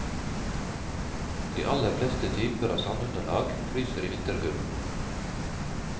De aller fleste typer av sandunderlag fryser i vinderkulden.